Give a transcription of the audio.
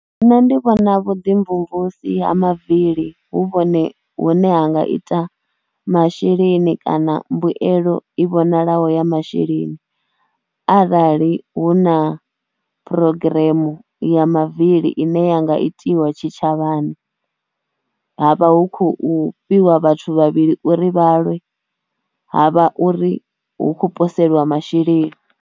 Nṋe ndi vhona vhuḓimvumvusi ha mavili hu vhone hune ha nga ita masheleni kana mbuelo i vhonalaho ya masheleni arali hu na program ya mavili ine ya nga itiwa tshitshavhani ha vha hu khou fhiwa vhathu vhavhili uri vha lwe, ha vha uri hu khou poseliwa masheleni.